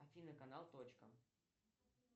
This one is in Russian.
афина канал точка